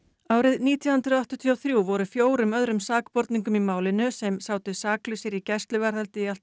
árið nítján hundruð áttatíu og þrjú voru fjórum öðrum sakborningum í málinu sem sátu saklausir í gæsluvarðhaldi í allt